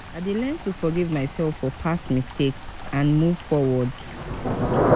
i gats remember the moments wey bring me joy and inspiration.